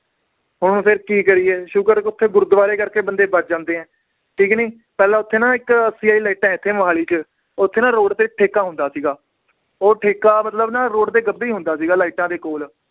ਹੁਣ ਫਿਰ ਕੀ ਕਰੀਏ ਸ਼ੁਕਰ ਓਥੇ ਗੁਰਦਵਾਰੇ ਕਰਕੇ ਬੰਦੇ ਬਚ ਜਾਂਦੇ ਏ ਠੀਕ ਨੀ ਪਹਿਲਾਂ ਓਥੇ ਨਾ ਇਕ ਲਾਇਟਾਂ ਹੈ ਇੱਥੇ ਮੋਹਾਲੀ ਚ ਓਥੇ ਨਾ road ਤੇ ਇਕ ਠੇਕਾ ਹੁੰਦਾ ਸੀਗਾ ਉਹ ਠੇਕਾ ਮਤਲਬ ਨਾ road ਦੇ ਗੱਬੇ ਈ ਹੁੰਦਾ ਸੀਗਾ ਲਾਈਟਾਂ ਦੇ ਕੋਲ